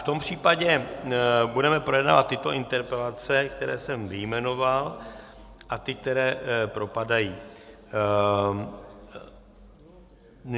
V tom případě budeme projednávat tyto interpelace, které jsem vyjmenoval, a ty, které propadají...